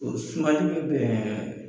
O sumali bi bɛn